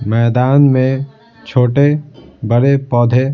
मैदान में छोटे बड़े पौधे --